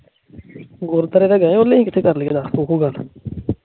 ਗੁਰਪੁਰਬ ਤੇ ਗਏ